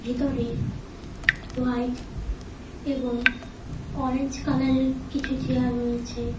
ভিতরে হোয়াইট এবং অরেঞ্জ কালারের কিছু চেয়ার রয়েছে।